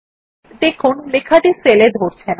দেখুন লেখাটি সেলে ধরছে না